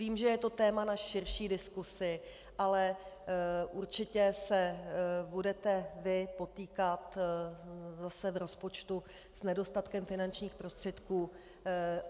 Vím, že je to téma na širší diskusi, ale určitě se budete vy potýkat zase v rozpočtu s nedostatkem finančních prostředků.